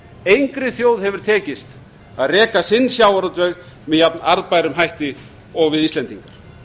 engri þjóð hefur tekist að reka sinn sjávarútveg með jafn arðbærum hætti og við íslendingar